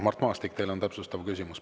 Mart Maastik, teil on täpsustav küsimus.